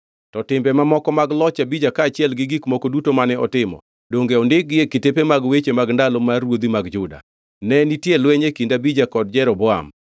To timbe mamoko mag loch Abija kaachiel gi gik moko duto mane otimo, donge ondikgi e kitepe mag weche mag ndalo mar ruodhi mag Juda? Ne nitie lweny e kind Abija kod Jeroboam.